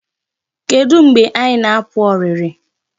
Kedu mgbe anyị na-apụ ọrịrị?